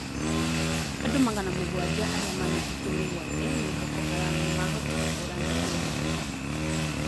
Andũ magana mũgwanja arĩa manyitĩtwo mĩgwate nĩ Boko Haram nĩmahotire kũra Nigeria.